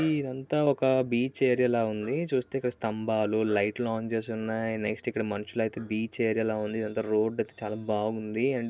ఇదంతా ఒక beach area లా ఉంది. చూస్తే ఇక్కడ స్తంభాలు లైట్ లు ఆన్ చేసి ఉన్నాయి. నెక్స్ట్ ఇక్కడ మనుషులైతే బీచ్ ఏరియా లాగా ఉంది. ఇదంత రోడ్ అయితే చాలా బాగుంది.